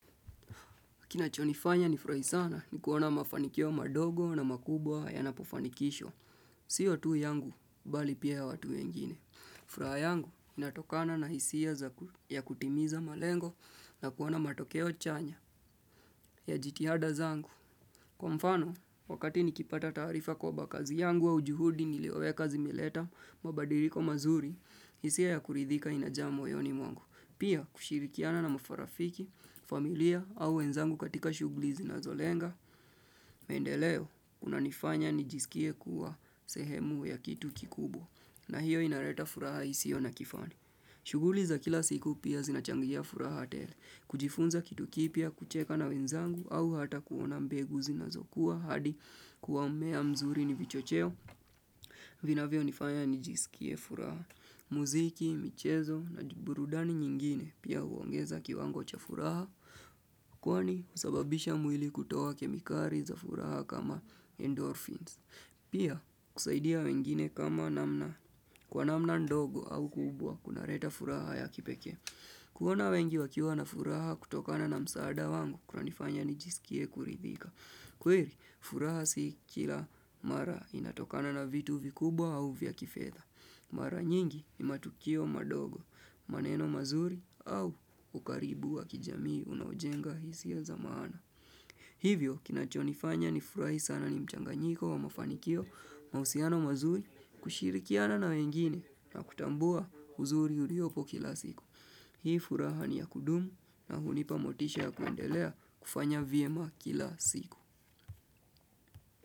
Kinachonifanya nifurahi sana ni kuona mafanikio madogo na makubwa yanapofanikisho. Sio tu yangu, bali pia ya watu wengine. Furaha yangu, inatokana na hisia ya kutimiza malengo na kuona matokeo chanya ya jitihada zangu. Kwa mfano, wakati nikipata taarifa kwaba kazi yangu au juhudi nilioweka zimeleta, mabadiriko mazuri, hisia ya kuridhika inajaa moyoni mwangu. Pia kushirikiana na mafarafiki, familia au wenzangu katika shughli zinazolenga, mendeleo unanifanya nijisikie kuwa sehemu ya kitu kikubwa na hiyo inareta furaha isio na kifani. Shuguli za kila siku pia zinachangia furaha tele, kujifunza kitu kipya, kucheka na wenzangu au hata kuona mbegu zinazokuwa hadi kuwa mmea mzuri ni vichocheo. Vinavyonifanya nijisikie furaha. Muziki, michezo na burudani nyingine pia huongeza kiwango cha furaha. Kwani husababisha mwili kutoa kemikari za furaha kama endorphins. Pia kusaidia wengine kama namna kwa namna ndogo au kubwa kunareta furaha ya kipekee. Kuona wengi wakiwa na furaha kutokana na msaada wangu kunanifanya nijisikie kuridhika. Kweri, furaha si kila mara inatokana na vitu vikubwa au vya kifedha. Mara nyingi ni matukio madogo, maneno mazuri au ukaribu wa kijamii unaojenga hisia za maana. Hivyo, kinachonifanya nifurahi sana ni mchanganyiko wa mafanikio mausiano mazuri kushirikiana na wengine na kutambua huzuri uriopo kila siku. Hii furaha ni ya kudumu na hunipa motisha ya kuendelea kufanya vyema kila siku.